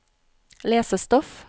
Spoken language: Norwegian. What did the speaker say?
lesestoff